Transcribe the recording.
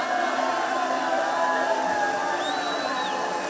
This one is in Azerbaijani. Qarabağ!